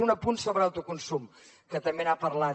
un apunt sobre autoconsum que també n’ha parlat